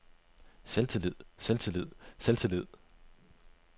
selvtillid selvtillid selvtillid